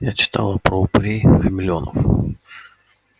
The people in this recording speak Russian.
я читала про упырей-хамелеонов